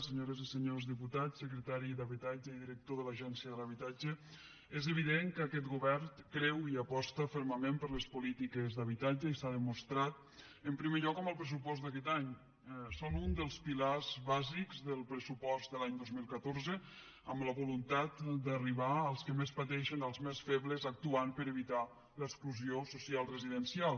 senyores i senyors diputats secretari d’habitatge i director de l’agència de l’habitatge és evident que aquest govern creu i aposta fermament per les polítiques d’habitatge i s’ha demostrat en primer lloc en el pressupost d’aquest any són un dels pilars bàsics del pressupost de l’any dos mil catorze amb la voluntat d’arribar als que més pateixen als més febles actuant per evitar l’exclusió social residencial